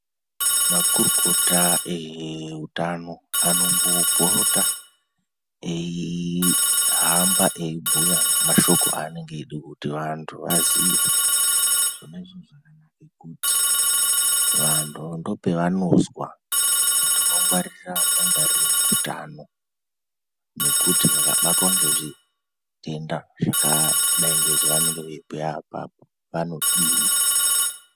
Makorokota eheutano, anombopota eyihamba eyibhuya ngemashoko avanonga veyida kuti vantu vaziye. Zvona izvozvo zvakanaka kuti vantu ndopavanozwa kuti vongwarira mangwaririreyi utano, nokuti vakabatwa ngezvitenda zvakadayi ngezvevanonga veyibhuya apapo, vanodini.